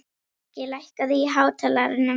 Loki, lækkaðu í hátalaranum.